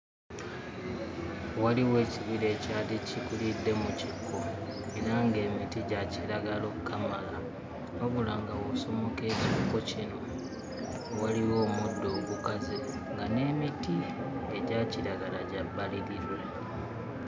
Waliwo ekibira ekyali kikulidde mu kikko era nga emiti gya kiragala okkamala wabula nga bw'osomoka ekikko kino, waliwo omuddo ogukaze nga n'emiti egya kiragala gya bbalirirwe.